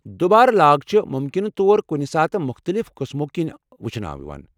دُبارٕ لاگ چھےٚ مُمكِنہٕ طور کُنہِ ساتہٕ مختٔلف قٕسمو کِنۍ وُچھنہٕ یوان۔